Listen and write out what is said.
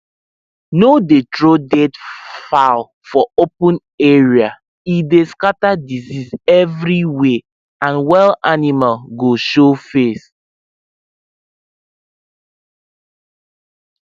no dey throw dead fowl for open area e dey scatter disease everywhere and wild animal go show face